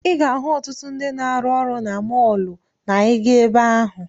Ị ga-ahụ ọtụtụ ndị na-arụ ọrụ na mọọlụ na ị gaa ebe ahụ.